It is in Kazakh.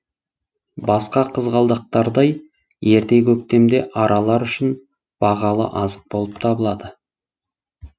басқа қызғалдақтардай ерте көктемде аралар үшін бағалы азық болып табылады